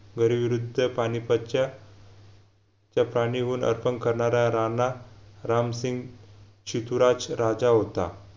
बरीविरुद्ध पानिपतच्या अर्पण करणारा राणा रामसिंग चितूराक्ष राजा होता